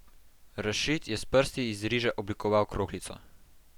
Rašid je s prsti iz riža oblikoval kroglico.